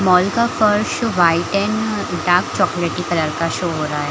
Mall का colours white and dark चॉकलेटी colour का शो हो रहा है।